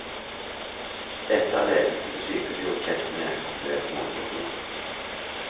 Dette er ledelsen ved sykehuset gjort kjent med for flere måneder siden.